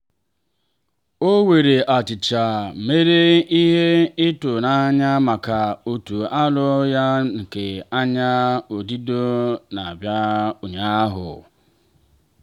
o were achicha mere ihe ịtụ n'anya maka otu afọ ya nke anya odido n'abalị ụnyaahụ.